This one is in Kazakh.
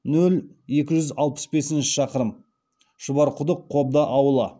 нөл екі жүз алпыс бес шақырым шұбарқұдық қобда ауылы